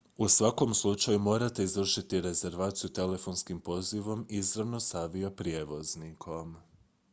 u svakom slučaju morate izvršiti rezervaciju telefonskim pozivom izravno s avioprijevoznikom